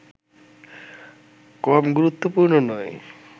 কম গুরুত্বপূর্ণ নয়